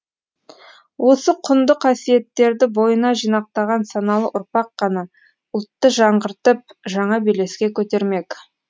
осы құнды қасиеттерді бойына жинақтаған саналы ұрпақ қана ұлтты жаңғыртып жаңа белеске көтермек